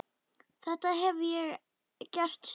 Þetta hef ég gert síðan.